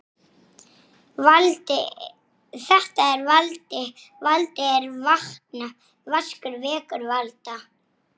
Finnst hér í berginu víða.